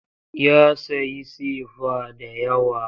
Ya sayi sefa da yawa.